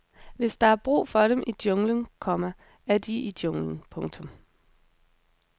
Hvis der er brug for dem i junglen, komma er de i junglen. punktum